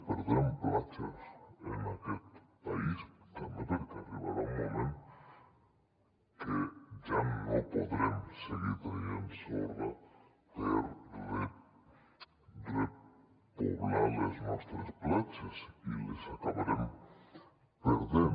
perdrem platges en aquest país també perquè arribarà un moment que ja no podrem seguir traient sorra per repoblar les nostres platges i les acabarem perdent